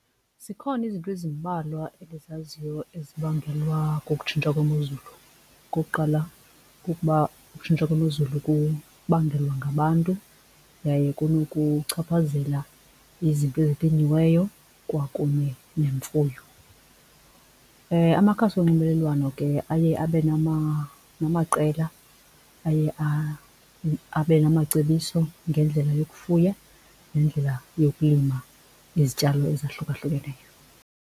Zikhona izinto ezimbalwa endizaziyo ezibangelwa kukutshintsha kwemozulu. Okokuqala kukuba ukutshintsha kwemozulu kubangelwa ngabantu yaye kunokuchaphazela izinto ezilinyiweyo kwakunye nemfuyo. Amakhasi onxibelelwano ke aye abe namaqela aye abenamacebiso ngendlela yokufuya nendlela yokulima izityalo ezahlukahlukeneyo.